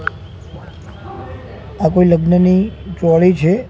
આ કોઈ લગ્નની ચોળી છે.